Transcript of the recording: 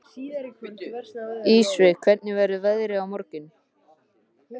Ísveig, hvernig verður veðrið á morgun?